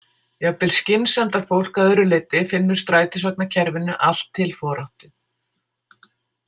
Jafnvel skynsemdarfólk að öðru leyti finnur strætisvagnakerfinu allt til foráttu.